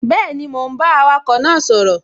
Bẹ́ẹ̀ni, mò ún bá awakọ̀ náà sọ̀rọ̀